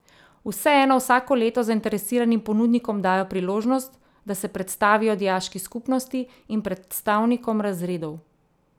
Vseeno vsako leto zainteresiranim ponudnikom dajo priložnost, da se predstavijo dijaški skupnosti in predstavnikom razredov.